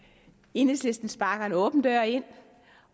enhedslisten sparker en åben dør ind